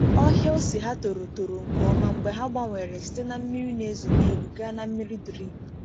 Ọhịa ose ha toro toro nke ọma mgbe ha gbanwere site na mmiri na-ezo n’elu gaa na mmiri drip.